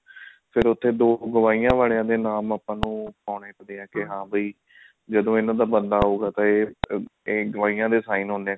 ਫ਼ੇਰ ਉਹਦੇ ਤੇ ਦੋ ਗਵਾਹੀਆਂ ਵਾਲੇ ਦੇ ਨਾਮ ਆਪਾਂ ਨੂੰ ਪਾਉਣੇ ਪੈਂਦੇ ਆ ਕੇ ਹਾਂ ਵੀ ਜਦੋਂ ਇਹਨਾ ਦਾ ਬਣਦਾ ਹੋਊਗਾ ਇਹ ਇਹ ਗਵਾਹੀਆਂ ਦੇ sign ਹੁੰਦੇ ਆ